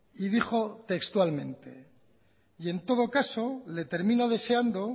y dijo textualmente y en todo caso le termino deseando